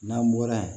N'an bɔra yen